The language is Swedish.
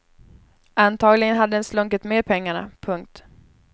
Antagligen hade den slunkit med pengarna. punkt